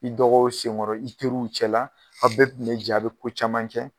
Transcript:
I dɔgɔw sen ŋɔrɔ, i teriw cɛ la, aw bɛ tun be jɛ a' be ko caman kɛ